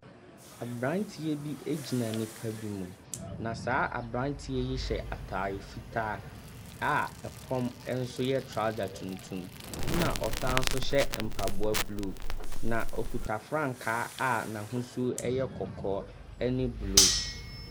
Aberanteɛ bi gyina nnipa bi mu, na saa aberanteɛ yi hyɛ atare fitaa a fam nso yɛ trouser tuntum, ɛnna ɔsan nso hyɛ mpaboa blue, na ɔkuta frankaa a n'ahosuo yɛ kɔkɔɔ ne blue.